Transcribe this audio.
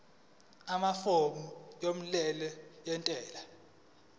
amafomu omyalelo wentela